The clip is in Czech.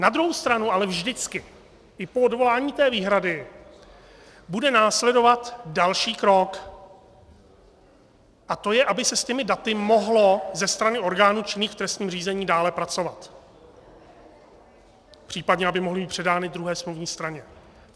Na druhou stranu ale vždycky, i po odvolání té výhrady, bude následovat další krok, a to je, aby se s těmi daty mohlo ze strany orgánů činných v trestním řízení dále pracovat, případně aby mohly být předány druhé smluvní straně.